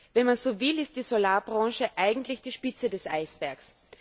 Wenn man so will, ist die Solarbranche eigentlich die Spitze des Eisbergs.